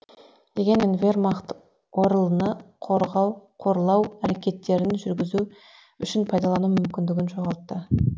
дегенмен вермахт орл ны қорлау әрекеттерін жүргізу үшін пайдалану мүмкіндігін жоғалтты